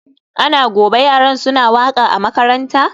Ana gobe yaran suna waka a makaranta?